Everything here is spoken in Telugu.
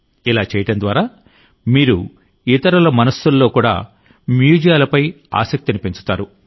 ఇలా చేయడం ద్వారా మీరు ఇతరుల మనస్సులలో కూడా మ్యూజియాలపై ఆసక్తిని పెంచుతారు